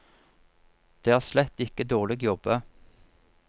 Det er slett ikke dårlig jobba.